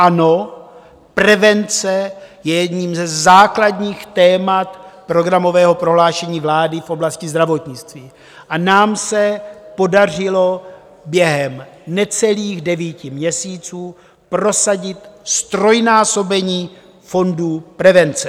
Ano, prevence je jedním ze základních témat programového prohlášení vlády v oblasti zdravotnictví a nám se podařilo během necelých devíti měsíců prosadit ztrojnásobení fondů prevence.